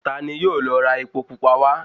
Ta ni yóò lọ ra epo pupa wá?